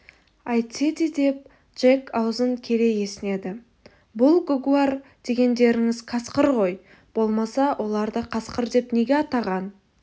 әйтсе де деп джек аузын кере есінеді бұл гугуар дегендеріңіз қасқыр ғой болмаса оларды қасқыр деп неге атаған